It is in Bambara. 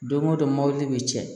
Don go don mɔbili bi cɛn